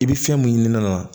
I bɛ fɛn mun ɲini ne la